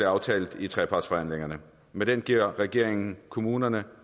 aftalt i trepartsforhandlingerne med den giver regeringen kommuner